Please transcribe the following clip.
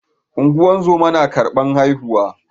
Ungozoma na karban haihuwa